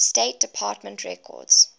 state department records